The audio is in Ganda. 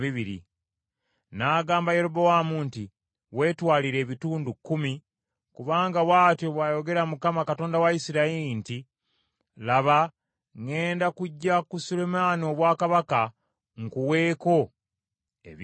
N’agamba Yerobowaamu nti, “Weetwalire ebitundu kkumi, kubanga bw’atyo bw’ayogera Mukama , Katonda wa Isirayiri nti, ‘Laba, ŋŋenda kuggya ku Sulemaani obwakabaka, nkuweeko ebika kkumi.